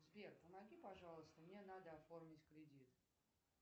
сбер помоги пожалуйста мне надо оформить кредит